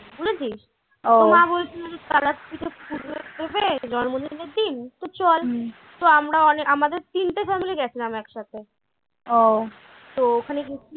বুঝেছিস মা বলছিলো জন্মদিনের দিন তো চল তো আমরাও অনেক আমাদের তিনটে family গেছিলাম এক সাথে। তো ওখানে গেছিলাম।